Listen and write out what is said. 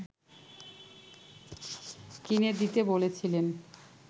কিনে দিতে বলেছিলেন